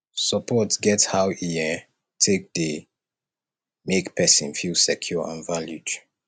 support get how e um take dey make person feel secure and valued